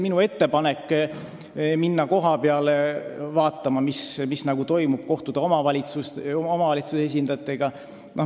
Minu ettepanek oli minna kohapeale vaatama, mis toimub, ja kohtuda omavalitsuse esindajatega.